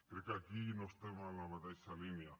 crec que aquí no estem en la mateixa línia